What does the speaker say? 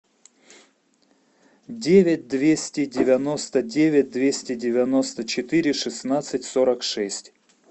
девять двести девяносто девять двести девяносто четыре шестнадцать сорок шесть